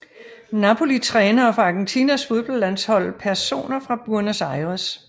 Napoli Trænere for Argentinas fodboldlandshold Personer fra Buenos Aires